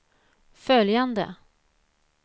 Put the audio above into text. följande